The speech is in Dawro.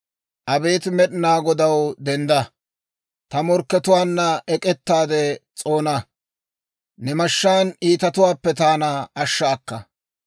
Abeet Med'inaa Godaw, dendda. Ta morkkatuwaanna ek'ettaade s'oona; ne mashshaan iitatuwaappe taana ashsha akka.